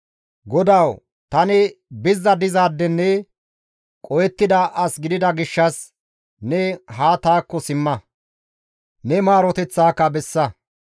GODAWU! Tani bizza dizaadenne qohettida as gidida gishshas, ne haa taakko simma; ne maaroteththaka bessa.